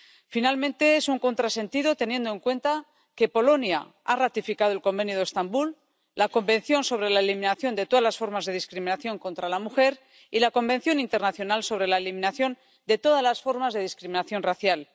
Finalmente, es un contrasentido, teniendo en cuenta que Polonia ha ratificado el Convenio de Estambul, la Convención sobre la Eliminación de Todas las Formas de Discriminación contra la Mujer y la Convención Internacional sobre la Eliminación de Todas las Formas de Discriminación Racial.